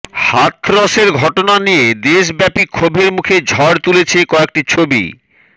হাথরসের ঘটনা নিয়ে দেশব্যাপী ক্ষোভের মধ্যে ঝড় তুলেছে কয়েকটি ছবি